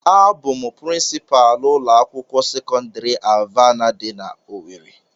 A bụ m prịnsịpalu ụlọ akwụkwọ sekọndrị Alvana dị na owerri.